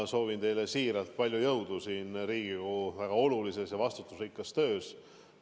Ma soovin teile siiralt palju jõudu Riigikogu väga olulises ja vastutusrikkas töös.